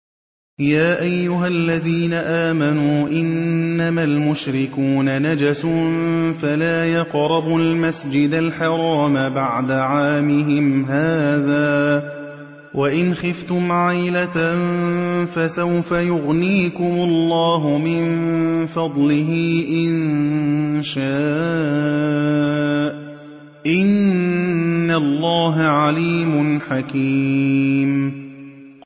يَا أَيُّهَا الَّذِينَ آمَنُوا إِنَّمَا الْمُشْرِكُونَ نَجَسٌ فَلَا يَقْرَبُوا الْمَسْجِدَ الْحَرَامَ بَعْدَ عَامِهِمْ هَٰذَا ۚ وَإِنْ خِفْتُمْ عَيْلَةً فَسَوْفَ يُغْنِيكُمُ اللَّهُ مِن فَضْلِهِ إِن شَاءَ ۚ إِنَّ اللَّهَ عَلِيمٌ حَكِيمٌ